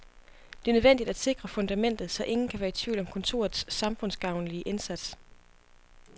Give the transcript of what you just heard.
Det er nødvendigt at sikre fundamentet, så ingen kan være i tvivl om kontorets samfundsgavnlige indsats.